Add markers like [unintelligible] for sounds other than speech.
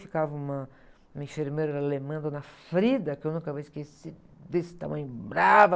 Ficava uma, uma enfermeira alemã, dona, [unintelligible] que eu nunca vou esquecer, desse tamanho brava.